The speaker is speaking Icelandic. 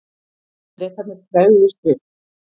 Bretarnir tregðuðust við.